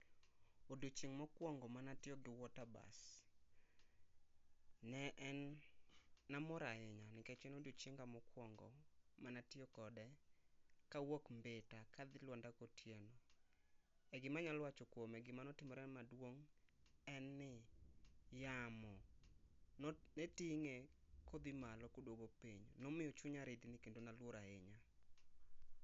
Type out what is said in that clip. Odichieng mokwongo mane a tiyo gi water bus ne en ni amor ahinya nikech ne en odichienga ma okwongo mane atiyo kode ka awuok mbita kadhi lwanda kotieno e gi ma anyalo wacho kuomo gima ne otimore maduong en ni yamo ne tinge ka odhi malo kodwogo piny momiyo chunya rickni kendo na luor ahinya